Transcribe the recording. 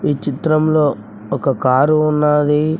ఈ చిత్రంలో ఒక కారు ఉన్నాది.